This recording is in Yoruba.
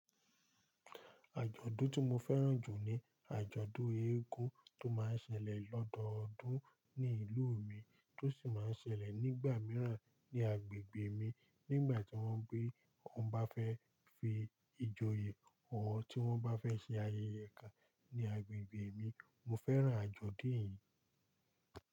Àjọ̀dún tí mo fẹ́ràn jù ni àjọ̀dún eégún tó má ń ṣẹlẹ̀ lọ́dọọdún ní ìlú mi, tó sì máa ń ṣẹlẹ̀ nígbà mìíràn ní agbègbè mi nígbà tí wọ́n bá fẹ́ fi ìjòyè hàn, tí wọ́n bá fẹ́ ṣe ayẹyẹ kan ní agbègbè mi. Mo fẹ́ràn àjọ̀dún yìí.